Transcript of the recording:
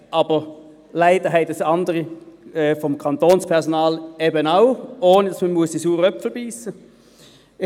Aber leider haben das andere vom Kantonspersonal eben auch, ohne dass man in den «sauren Apfel» beissen muss.